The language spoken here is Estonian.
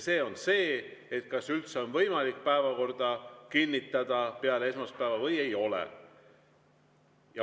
See on see, kas üldse on võimalik päevakorda kinnitada peale esmaspäeva või ei ole.